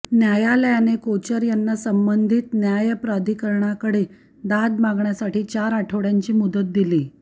न्यायालयाने कोचर यांना संबंधित न्यायप्राधिकरणकडे दाद मागण्यासाठी चार आठवड्यांची मुदत दिली